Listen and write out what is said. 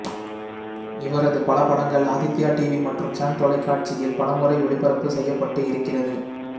இவரது பல படங்கள் ஆதித்யா டிவி மற்றும் சன் தொலைக்காட்சியில் பலமுறை ஒளிபரப்பு செய்யப்பட்டு இருக்கிறது